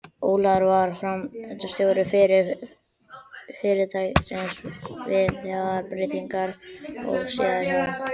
Ólafur varð framkvæmdastjóri fyrirtækisins við þessar breytingar og síðar hjá